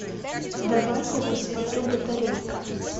давай я посмотрю батарейка